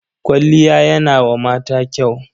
Kwalliya yana wa mata kyau.